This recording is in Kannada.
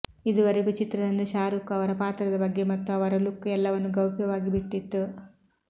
ಇದುವರೆಗೂ ಚಿತ್ರತಂಡ ಶಾರೂಖ್ ಅವರ ಪಾತ್ರದ ಬಗ್ಗೆ ಮತ್ತು ಅವರ ಲುಕ್ ಎಲ್ಲವನ್ನು ಗೌಪ್ಯವಾಗಿಟ್ಟಿತ್ತು